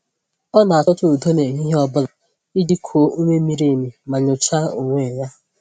Ọ na-achọta udo n’ehihie ọ bụla iji kuo ume miri emi ma nyochaa onwe ya.